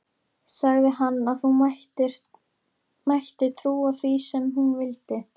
Sagði að hún mætti trúa því sem hún vildi.